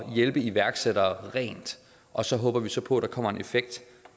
hjælpe iværksættere og så håber vi så på at der kommer en effekt